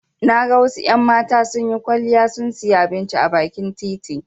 Na ga wasu en mata sunyi kwaliya sun siya abinci a bakin titi